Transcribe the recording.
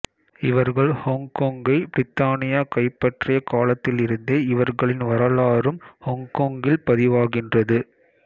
இவர்கள் ஹொங்கொங்கை பிரித்தானியா கைப்பற்றியக் காலத்தில் இருந்தே இவர்களின் வரலாறும் ஹொங்கொங்கில் பதிவாகின்றது